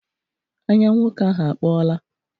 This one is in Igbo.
Anya nwoke ahụ akpọọla.